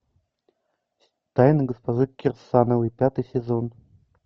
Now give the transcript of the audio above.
тайны госпожи кирсановой пятый сезон